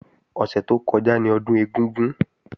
Ọ̀sẹ̀ tó kọjá ni Ọdún ẹ̀gúngún